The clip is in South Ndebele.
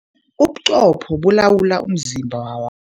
Ubuqopho bulawula umzimba wa